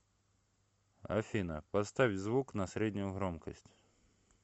афина поставь звук на среднюю громкость